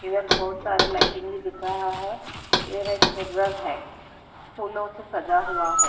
इधर बहुत सारे लाइटिंग भी दिख रहा है इधर एक मिरर है फूलों से सजा हुआ है।